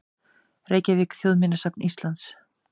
Reykjavík: Þjóðminjasafn Íslands.